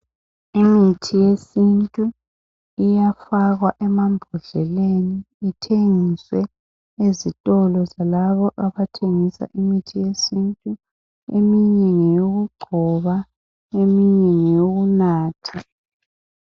Imithi yesintu iyafakwa emambodleleni. Ithengiswe ezitolo zalabo abathengisa imithi yesintu ,eminye ngeyokugcoba ,eminye ngeyokunatha.